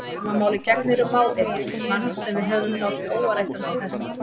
Sama máli gegnir um mág yðar, mann sem við höfum látið óáreittan til þessa.